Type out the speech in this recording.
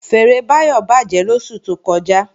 Fèèrè Báyọ̀ bàjẹ́ lóṣù tó kọjá